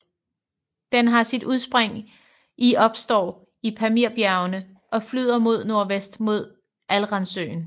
Den har sit udspring i opstår i Pamirbjergene og flyder mod nordvest mod Aralsøen